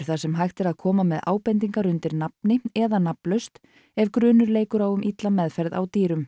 þar sem hægt er að koma með ábendingar undir nafni eða nafnlaust ef grunur leikur um illa meðferð á dýrum